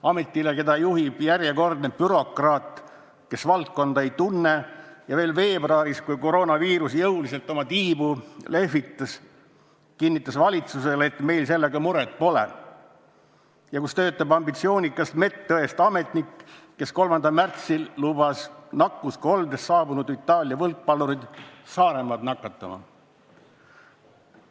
Ametile, keda juhib järjekordne bürokraat, kes valdkonda ei tunne ja kes veebruaris, kui koroonaviirus jõuliselt oma tiibu lehvitas, kinnitas valitsusele, et meil sellega muret pole, ja kus töötab ambitsioonikas medõest ametnik, kes 3. märtsil lubas nakkuskoldest saabunud Itaalia võrkpallurid Saaremaad nakatama.